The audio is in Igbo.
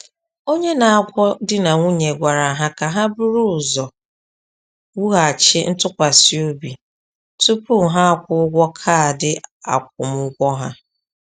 Onye na-agwọ di na nwunye gwara ha ka ha buru ụzọ wughachi ntụkwasị obi tupu ha kwụọ ụgwọ kaadị akwụmụgwọ ha.